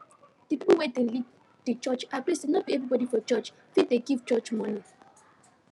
the pipo wey dey lead the church agree say no be everybody for the church fit dey give church money